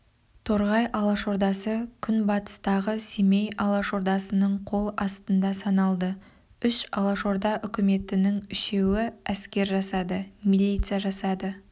торғай алашордасы күнбатыстағы семей алашордасының қол астында саналды үш алашорда үкіметінің үшеуі әскер жасады милиция жасады